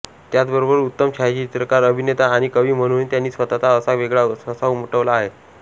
त्याचबरोबर उत्तम छायाचित्रकार अभिनेता आणि कवी म्हणूनही त्यांनी स्वतःचा असा वेगळा ठसा उमटवला आहे